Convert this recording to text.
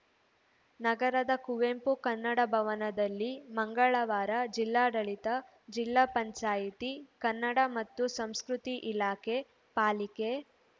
ನಗರದ ಕುವೆಂಪು ಕನ್ನಡ ಭವನದಲ್ಲಿ ಮಂಗಳವಾರ ಜಿಲ್ಲಾಡಳಿತಜಿಲ್ಲಾ ಪಂಚಾಯಿತಿ ಕನ್ನಡ ಮತ್ತು ಸಂಸ್ಕೃತಿ ಇಲಾಖೆ ಪಾಲಿಕೆ